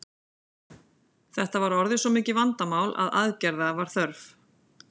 Þetta var orðið svo mikið vandamál að aðgerða var þörf.